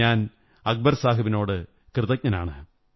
ഞാൻ അക്ബര്സാ്ഹബിനോടു കൃതജ്ഞനാണ്